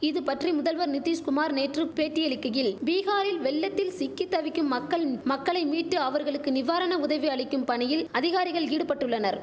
இது பற்றி முதல்வர் நிதிஷ்குமார் நேற்று பேட்டியளிக்கையில் பீகாரில் வெள்ளத்தில் சிக்கி தவிக்கும் மக்கள் மக்களை மீட்டு அவர்களுக்கு நிவாரண உதவி அளிக்கும் பணியில் அதிகாரிகள் ஈடுபட்டுள்ளனர்